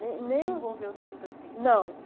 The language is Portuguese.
Nem nem Não se envolveu tanto assim com o livro? Não